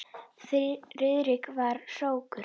Friðrik var hrókur.